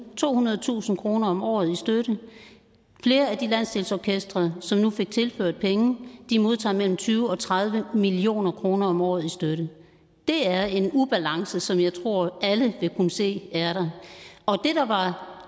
tohundredetusind kroner om året i støtte flere af de landsdelsorkestre som nu fik tilført penge modtager mellem tyve og tredive million kroner om året i støtte det er en ubalance som jeg tror alle vil kunne se er der og